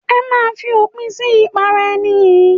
Ẹ máa fòpin sí ìpara ẹni yìí.